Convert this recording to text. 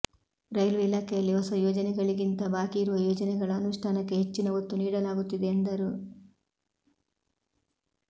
railway ಇಲಾಖೆಯಲ್ಲಿ ಹೊಸ ಯೋಜನೆಗಳಿಗಿಂತ ಬಾಕಿ ಇರುವ ಯೋಜನೆಗಳ ಅನುಷ್ಠಾನಕ್ಕೆ ಹೆಚ್ಚಿನ ಒತ್ತು ನೀಡಲಾಗುತ್ತಿದೆ ಎಂದರು